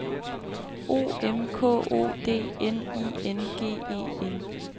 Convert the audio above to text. O M K O D N I N G E N